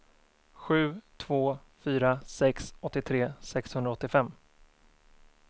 sju två fyra sex åttiotre sexhundraåttiofem